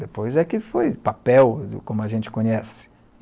Depois é que foi papel, como a gente conhece.